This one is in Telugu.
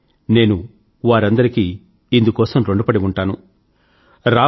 ఇందుమూలంగా నేను వారందరికీ ఋణపడి ఉంటాను